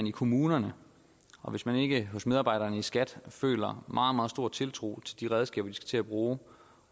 i kommunerne og hvis man ikke hos medarbejderne i skat føler meget meget stor tiltro til de redskaber de skal til at bruge